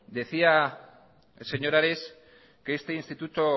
decía el señor ares que este instituto